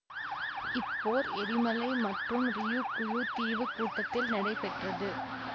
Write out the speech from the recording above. இப்போர் எரிமலை மற்றும் ரியுகுயு தீவு கூட்டத்தில் நடைபெற்றது